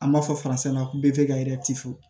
An b'a fɔ ko be ka